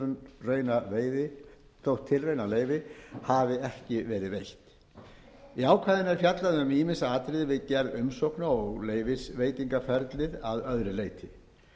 um ræktunarleyfi þótt tilraunaleyfi hafi ekki verið veitt í ákvæðinu er fjallað um ýmis atriði við gerð umsókna og leyfisveitingaferlið að öðru leyti